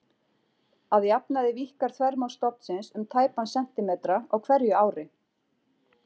Að jafnaði víkkar þvermál stofnsins um tæpan sentímetra á hverju ári.